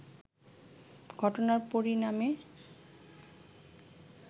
ঘটনার পরিণামে